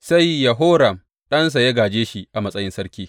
Sai Yehoram ɗansa ya gāje shi a matsayin sarki.